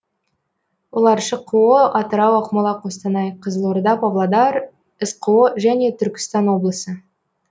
олар шқо атырау ақмола қостанай қызылорда павлодар сқо және түркістан облысы